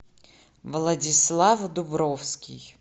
владислав дубровский